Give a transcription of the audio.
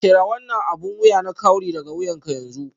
Cire wannan abin wuya na kawry daga wuyanka yanzu